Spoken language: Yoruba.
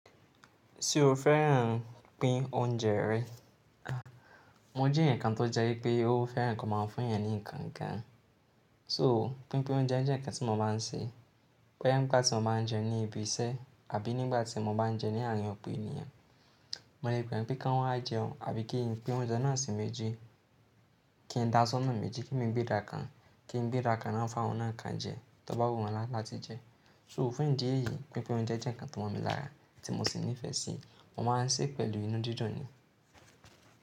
Ṣé o fẹ́ràn pín oúnjẹ rẹ? Mo je eyakan tó jẹ́ wípé ó fẹ́ràn ki wọ́n máa ń fún èèyàn ní nǹkan kan. So pínpín oúnjẹ jẹ́ nǹkan tí mo máa ń ṣe. Bee nígbà tí mo bá ń jẹun ní ibi iṣẹ́ àbí nígbà tí mo bá ń jẹun ní àárín ọ̀pọ̀ ènìyàn, mo lè pé won kí wọ́n wá jẹun àbí kí ń pín oúnjẹ náà sí méjì, kí ń dá aṣọ náà méjì, kí emi gbé ida kan, kí ń gbéda kan naa fun awon náà kan jẹ tó bá wù wọ́n láti jẹun. So fún ìdí èyí, pínpín oúnjẹ jẹ́ nǹkan tí mo mọ lára tí mo sì nífẹ̀ẹ́ sí, mo máa ń ṣe pẹ̀lú inú didun ni.